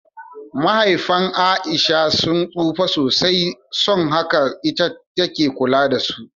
Mahaifan A'isha sun tsufa sosai, son haka ita take kula da su.